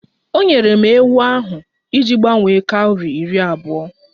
O nyere m ewu ahụ iji gbanwere kọwri iri abụọ